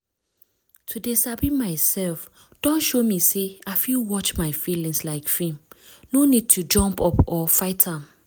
to dey sabi myself don show me say i fit watch my feelings like film no need to jump up or fight am